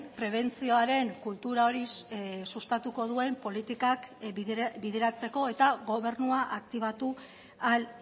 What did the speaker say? prebentzioaren kultura hori sustatuko duen politikak bideratzeko eta gobernua aktibatu ahal